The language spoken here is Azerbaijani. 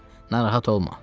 Narahat olma.